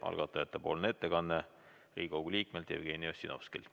Algatajate ettekanne on Riigikogu liikmelt Jevgeni Ossinovskilt.